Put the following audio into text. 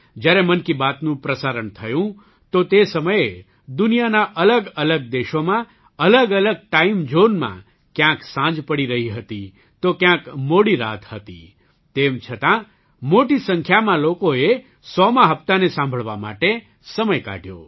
જ્યારે મન કી બાતનું પ્રસારણ થયું તો તે સમયે દુનિયાના અલગઅલગ દેશોમાં અલગઅલગ ટાઇમઝૉનમાં ક્યાંક સાંજ પડી રહી હતી તો ક્યાંક મોડી રાત હતી તેમ છતાં મોટી સંખ્યામાં લોકોએ ૧૦૦મા હપ્તાને સાંભળવા માટે સમય કાઢ્યો